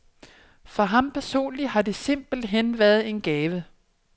For ham personligt har de simpelt hen været en gave.